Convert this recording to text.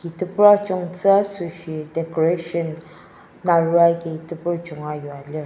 tobur ajungtsü asoshi decoration naro aki tobur junga yua lir.